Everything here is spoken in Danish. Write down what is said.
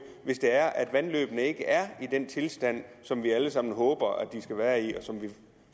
hvis vandløbet ikke er i den tilstand som vi alle sammen håber at det er i og som vi